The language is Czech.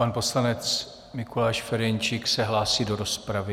Pan poslanec Mikuláš Ferjenčík se hlásí do rozpravy.